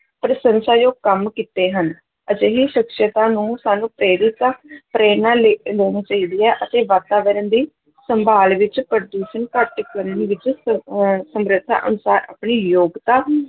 ਪ੍ਰਸੰਸਾਯੋਗ ਕੰਮ ਕੀਤੇ ਹਨ, ਅਜਿਹੀ ਸ਼ਖ਼ਸੀਅਤਾਂ ਨੂੰ ਸਾਨੂੰ ਪ੍ਰੇਰਿਤਾ ਪ੍ਰੇਰਨਾ ਲੈ ਲੈਣੀ ਚਾਹੀਦੀ ਹੈ ਅਤੇ ਵਾਤਾਵਰਨ ਦੀ ਸੰਭਾਲ ਵਿੱਚ ਪ੍ਰਦੂਸ਼ਣ ਘੱਟ ਕਰਨ ਦੇ ਵਿੱਚ ਸ ਅਹ ਸਮਰੱਥਾ ਅਨੁਸਾਰ ਆਪਣੀ ਯੋਗਤਾ